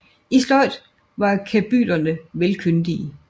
I sløjd var kabylerne vel kyndige